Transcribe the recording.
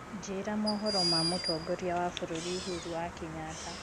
njĩĩra mohoro ma mutongoria wa bururi uhuru wa kenyatta